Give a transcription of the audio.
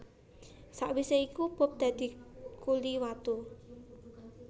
Sawisé iku Bob dadi kuli watu